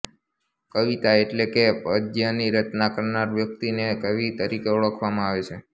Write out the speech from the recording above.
કવિતા એટલે કે પદ્યની રચના કરનાર વ્યક્તિને કવિ તરીકે ઓળખવામાં આવે છે